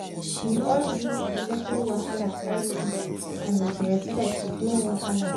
we all gree to settle wahala quietly and with respect no wahala!